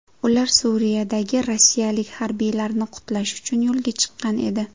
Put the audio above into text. Ular Suriyadagi rossiyalik harbiylarni qutlash uchun yo‘lga chiqqan edi.